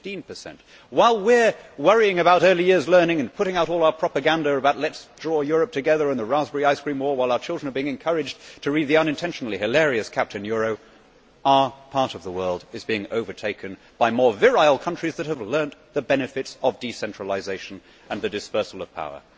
15. While we are worrying about early years learning, putting out all our propaganda about drawing Europe together, and producing The Raspberry Ice Cream War and while our children are being encouraged to read the unintentionally hilarious Captain Euro', our part of the world is being overtaken by more virile countries that have learned the benefits of decentralisation and the dispersal of power.